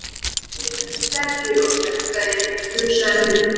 Þeir eru stærri og sterkari, hugsaði hún.